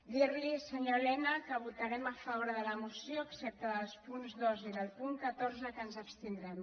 dir li senyor elena que votarem a favor de la moció excepte dels punts dos i del punt catorze en què ens abstindrem